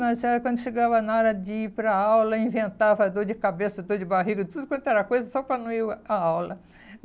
Mas quando chegava na hora de ir para a aula, inventava dor de cabeça, dor de barriga, tudo quanto era coisa só para não ir à aula.